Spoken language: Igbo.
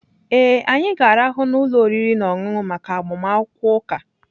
Ee.anyị ga-arahụ n'ụlọ oriri na ọṅụṅụ maka agbamakwụkwọ ụka